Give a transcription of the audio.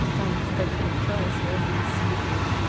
там кстати начало связанно с едой